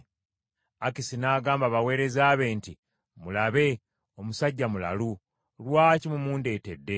Akisi n’agamba abaweereza be nti, “Mulabe! Omusajja mulalu! Lwaki mumundeetedde?